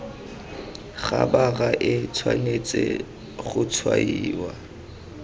khabara e tshwanetse go tshwaiwa